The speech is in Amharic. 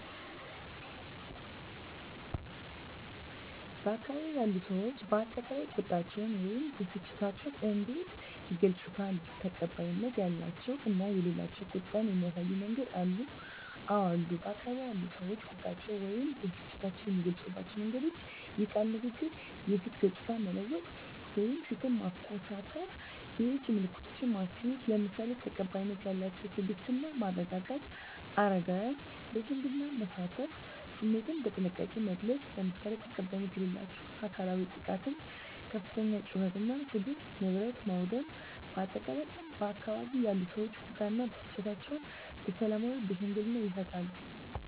በአካባቢው ያሉ ሰዎች በአጠቃላይ ቁጣቸውን ወይም ብስጭታቸውን እንዴት ይገልጻሉ? ተቀባይነት ያላቸው እና የሌላቸው ቁጣን የሚያሳዩ መንገዶች አሉ? *አወ አሉ፦ በአካባቢው ያሉ ሰዎች ቁጣቸውን ወይም ብስጭታቸውን የሚገልጹባቸው መንገዶች፦ * የቃል ንግግር *የፊት ገጽታን መለወጥ (ፊትን ማኮሳተር)፣ *የእጅ ምልክቶችን ማሳየት፣ **ለምሳሌ፦ ተቀባይነት ያላቸው * ትዕግስት እና መረጋጋት: * አረጋውያንን ለሽምግልና ማሳተፍ።: * ስሜትን በጥንቃቄ መግለጽ: **ለምሳሌ፦ ተቀባይነት የሌላቸው * አካላዊ ጥቃት * ከፍተኛ ጩኸት እና ስድብ: * ንብረት ማውደም: በአጠቃላይ፣ ባካባቢው ያሉ ሰዎች ቁጣ እና ብስጭታቸውን በሰላማዊና በሽምግልና ይፈታሉ።